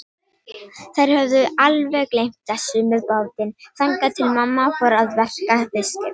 Þær höfðu alveg gleymt þessu með bátinn, þangað til mamma fór að verka fiskinn.